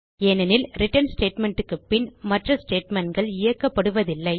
ஏனெனில் return statement க்கு பின் மற்ற statementகள் இயக்கப்படுவதில்லை